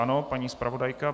Ano, paní zpravodajka.